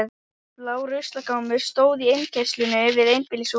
Blár ruslagámur stóð í innkeyrslunni við einbýlishús